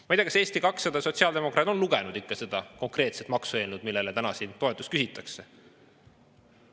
Ma ei tea, kas Eesti 200 ja sotsiaaldemokraadid on ikka lugenud seda maksueelnõu, millele täna siin toetust küsitakse.